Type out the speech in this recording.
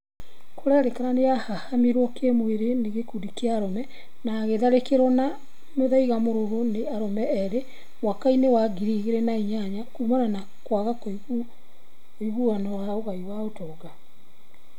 Kũratuĩka nĩarahahamirwo kĩmwĩrĩ nĩ gĩkundĩ kĩa arũme na agitharĩkĩrwo na mũthaiga mũrũrũ nĩ arume erĩ mwaka-inĩ wa ngiri igĩrĩ na inyanya kũmana na kwaga ũiguano wa ũgai wa ũtonga